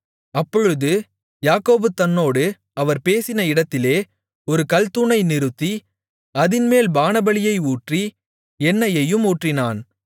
அப்பொழுது யாக்கோபு தன்னோடு அவர் பேசின இடத்திலே ஒரு கல்தூணை நிறுத்தி அதின்மேல் பானபலியை ஊற்றி எண்ணையையும் ஊற்றினான்